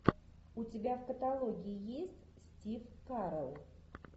у тебя в каталоге есть стив карелл